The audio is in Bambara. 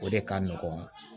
O de ka nɔgɔn